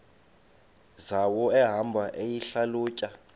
zawo ehamba eyihlalutya